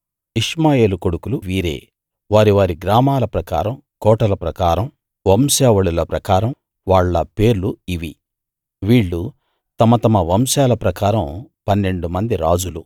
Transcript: ఇష్మాయేలు కొడుకులు వీరే వారి వారి గ్రామాల ప్రకారమూ కోటల ప్రకారమూ వంశావళుల ప్రకారమూ వాళ్ళ పేర్లు ఇవి వీళ్ళు తమ తమ వంశాల ప్రకారం పన్నెండు మంది రాజులు